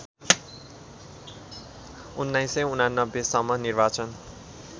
१९८९ सम्म निर्वाचन